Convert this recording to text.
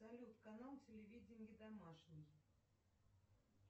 салют канал телевидения домашний